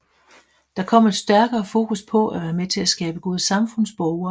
Der kom et stærkere fokus på at være med til at skabe gode samfundsborgere